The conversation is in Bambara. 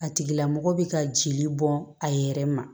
A tigila mɔgɔ bɛ ka jeli bɔn a yɛrɛ ma